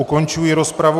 Ukončuji rozpravu.